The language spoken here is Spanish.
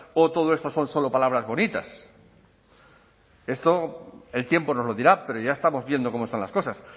o todo esto son solo palabras bonitas esto el tiempo nos lo dirá pero ya estamos viendo cómo son las cosas